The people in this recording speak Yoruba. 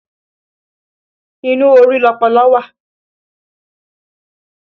Inú orí lọpọlọ wà